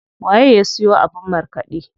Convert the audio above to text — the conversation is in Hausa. Waye ya siyo abin markaɗe?